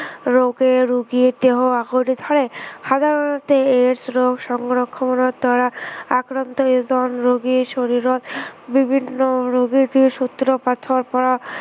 ৰোগে ৰোগীৰ দেহত আগুৰি ধৰে। সাধাৰণতে AIDS ৰোগ সংক্ৰমণৰ দ্বাৰা আক্ৰান্ত এজন ৰোগীৰ শৰীৰত বিভিন্ন ৰোগৰ যি সূত্ৰপাতৰ পৰা